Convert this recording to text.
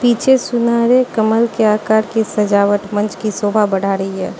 पीछे सुनहरे कमल के आकार की सजावट मंच की शोभा बढ़ा रही है।